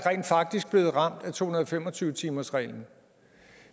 blevet ramt af to hundrede og fem og tyve timersreglen